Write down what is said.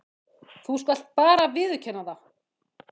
Þú skalt bara viðurkenna það!